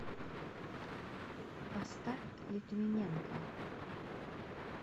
поставь литвиненко